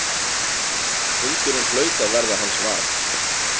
Hundurinn hlaut að verða hans var.